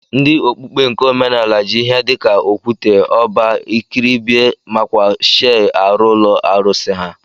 Ndi okpukpe nke omenala ji ihe dika okwute, ọba, ikribie makwa shei arụ ulọ arụsi ha.